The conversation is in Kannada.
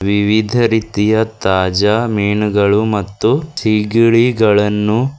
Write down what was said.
ವಿವಿಧ ರೀತಿಯ ತಾಜಾ ಮೀನುಗಳು ಮತ್ತು ಸಿಗಡಿಗಳನ್ನು--